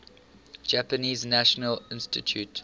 japanese national institute